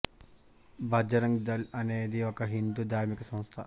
బజరంగ్ దళ్ అనే ది ఒక హిందూ ధార్మిక సంస్థ